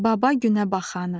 Baba günəbaxanı.